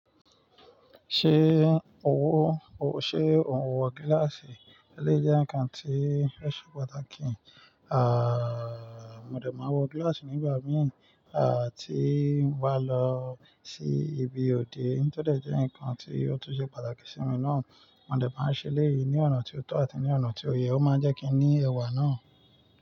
Ṣé ò ń wọ, ṣe ò ń wọ gíláàsì? Eléyi jẹ́ ǹkan tí ó ṣe pàtàkì. À, mo dè máa n wọ gíláàsì nígbà mìí, à tíi mo bá lọ sí ibi òde. Tó dẹ̀ jẹ́ ǹkan tí ó tun ṣe pàtàkì sí mi náà. Mo dè máa ń ṣe elẹ́yì, ní ọ̀nà tí ó tọ̀ àti ní ọ̀nà tí ó yẹ, ó máa ń jẹ́ kí n ní ẹwà náà.